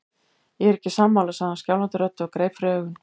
Ég er ekki sammála, sagði hann skjálfandi röddu og greip fyrir augun.